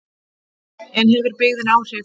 En hefur byggðin áhrif?